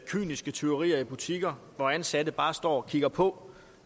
kyniske tyverier i butikker hvor ansatte bare står og kigger på